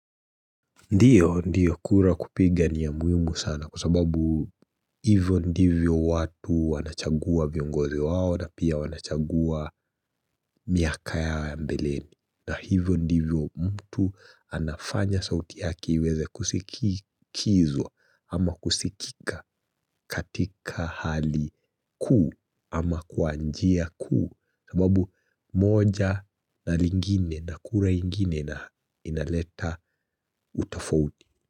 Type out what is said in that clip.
Ndiyo, ndiyo kura kupiga ni ya muhimu sana kwa sababu hivyo ndivyo watu wanachagua viongozi wao na pia wanachagua miaka ya mbeleni. Na hivyo ndivyo mtu anafanya sauti yake iweeze kusikizwa ama kusikika katika hali kuu ama kwa njia kuu sababu moja na lingine na kura ingine na inaleta utofauti.